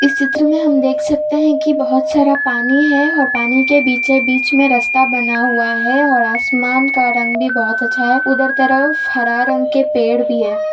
इस चित्र में हम देख सकते हैं कि बोहोत सारा पानी है और पानी के बीचे बीच में रास्ता बना हुआ है और आसमान का रंग भी बोहोत अच्छा है। उधर तरफ हरा रंग के पेड़ भी है।